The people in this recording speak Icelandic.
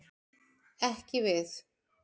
Ekki við.